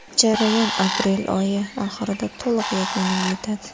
Jarayon aprel oyi oxirida to‘liq yakuniga yetadi.